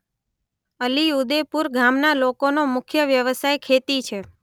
અલીઉદેપુર ગામના લોકોનો મુખ્ય વ્યવસાય ખેતી છે.